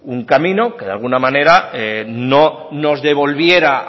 un camino que de laguna manera no nos devolviera